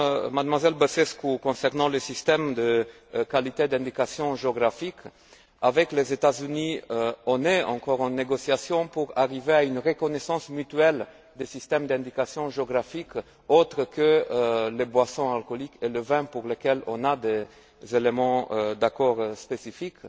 Mademoiselle Băsescu, concernant le système de qualité d'indication géographique, avec les États Unis, on est encore en négociation pour arriver à une reconnaissance mutuelle des systèmes d'indication géographique autres que pour les boissons alcoolisées et le vin pour lesquels on a des éléments d'accord spécifique.